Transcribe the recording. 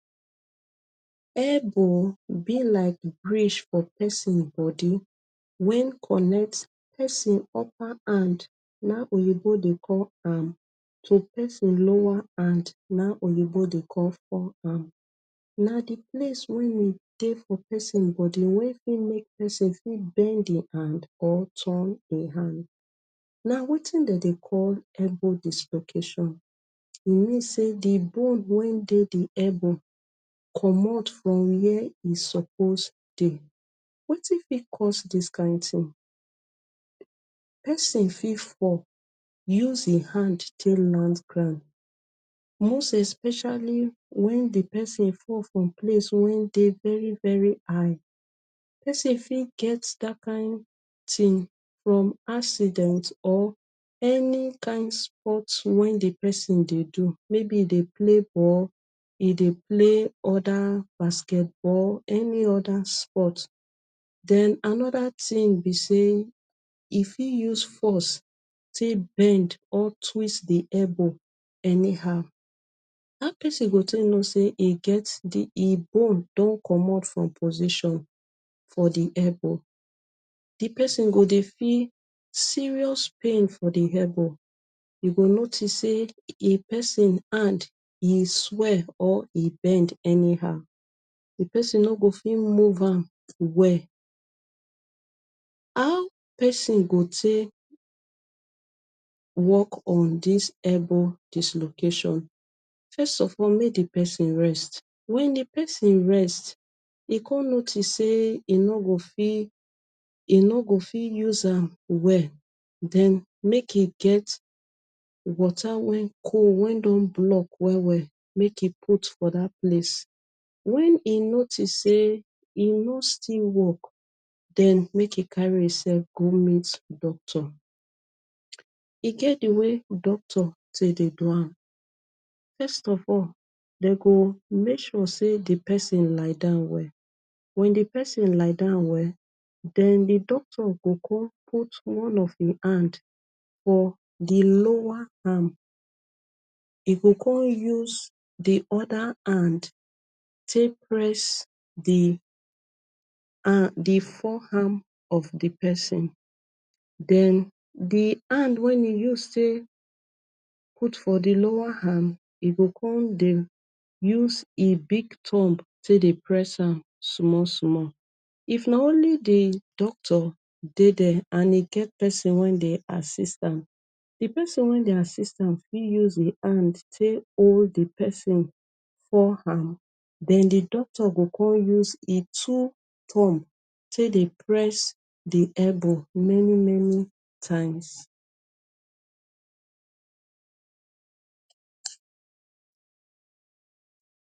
Elbow be like bridge for pesin bodi wen connect pesin upper hand. Na im oyinbo dey call am so. Pesin lower arm na im oyinbo dey call fore arm. Na di place wen we dey for pesin bodi wey fit make pesin fit bend im hand or turn im hand. Na wetin dem dey call elbow. Dislocation e mean say di bone wey dey di elbow comot from wia e suppose dey. Wetin fit cause dis kain tin, pesin fit fall use im hand take land ground, most especially wen di pesin fall from place wey dey very very high. Pesin fit get dat kain tin from accident or any kain sport wen di pesin dey do. Maybe im dey play ball, e dey play anoda basketball, any oda sport. Den anoda tin be say e fit use force take bend or twist di elbow anyhow. How pesin go take know say di bone don comot from position for di elbow—di pesin go dey feel serious pain for di elbow. You go notice say di pesin hand e swell or e bend anyhow. Di pesin no go fit move am well. How pesin go take wok on dis elbow dislocation—first of all, make di pesin rest. Wen di pesin rest, e go notice say e no go fit use am well. Den make e get water wey cold wey don block well well, make e put for dat place. Wen e notice say e no still wok, den make e carry imsef go meet doctor. E get di way wey doctor take dey do am—first of all, dem go make sure say di pesin lie down well. Wen di pesin lie down well, den di doctor go come put one of im hand for di lower arm. E go come use di oda hand take press di forw arm of di pesin. Den di hand wey e use take put for di lower arm, e go come dey use im big thumb take dey press am small small. If na only di doctor dey dia and e get pesin wey dey assist am, di pesin wey dey assistance fit use im hand take hold di pesin forw arm. Den di doctor go come use im two thumb take dey press di elbow many many times.